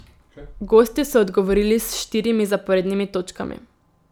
Gostje so odgovorili s štirimi zaporednimi točkami.